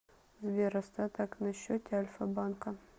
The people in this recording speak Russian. сбер остаток на счете альфа банка